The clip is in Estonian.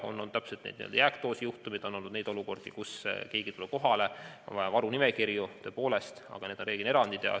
On olnud n-ö jääkdoosi juhtumeid, on olnud olukordi, kus keegi pole tulnud kohale ja on vaja läinud varunimekirju, tõepoolest, aga need on reeglina erandid.